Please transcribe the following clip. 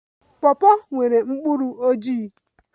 Pawpaw nwere mkpụrụ ojii